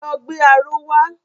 Lọ gbé aró wa!